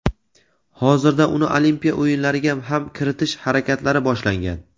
hozirda uni Olimpiya o‘yinlariga ham kiritish harakatlari boshlangan.